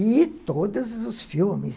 E todos os filmes.